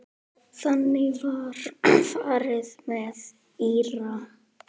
Þannig var farið með Íra.